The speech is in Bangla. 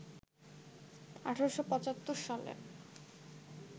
১৮৭৫ সালে